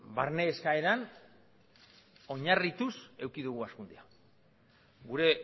barne eskaeran oinarrituz eduki dugu hazkuntza gure